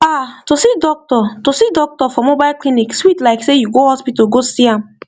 ah to see doctor to see doctor for mobile clinic sweet like sey you go hospital go see am